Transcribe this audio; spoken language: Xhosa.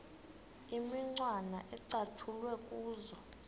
imicwana ecatshulwe kuzo